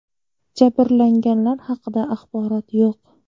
Jabrlanganlar haqida axborot yo‘q.